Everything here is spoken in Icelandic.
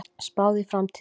Spáð í framtíðina